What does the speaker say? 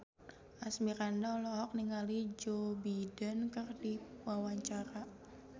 Asmirandah olohok ningali Joe Biden keur diwawancara